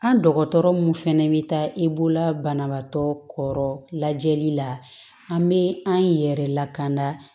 An dɔgɔtɔrɔ mun fɛnɛ bi taa i bolo banabaatɔ kɔrɔ lajɛli la an be an yɛrɛ lakana